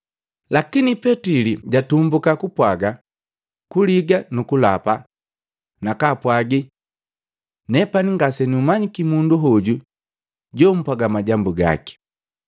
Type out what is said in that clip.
Lakini Petili jatumbuka kupwaga, Kuliga nukulapa, nakaapwagi, “Nepani ngase numanyiki mundu hoju jomupwaga majambu gaki.”